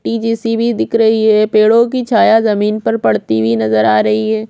ये जेसीबी दिख रही है पेड़ो की छाया जमीन पर पड़ती नजर आ रही है।